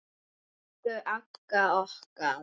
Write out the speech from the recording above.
Elsku Agga okkar.